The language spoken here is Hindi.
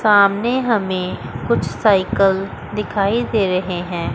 सामने हमें कुछ साइकल दिखाई दे रहे हैं।